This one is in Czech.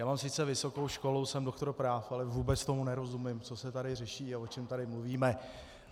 Já mám sice vysokou školu, jsem doktor práv, ale vůbec tomu nerozumím, co se tady řeší a o čem tady mluvíme.